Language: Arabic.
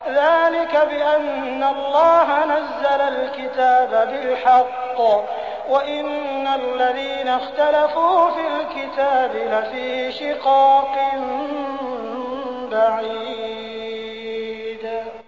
ذَٰلِكَ بِأَنَّ اللَّهَ نَزَّلَ الْكِتَابَ بِالْحَقِّ ۗ وَإِنَّ الَّذِينَ اخْتَلَفُوا فِي الْكِتَابِ لَفِي شِقَاقٍ بَعِيدٍ